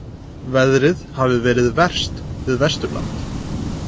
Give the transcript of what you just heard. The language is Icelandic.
Veðrið hafi verið verst við Vesturland